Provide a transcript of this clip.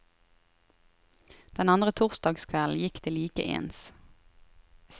Den andre torsdagskvelden gikk det like ens.